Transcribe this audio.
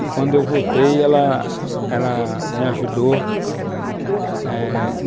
E, quando eu voltei, ela ela me ajudou, eh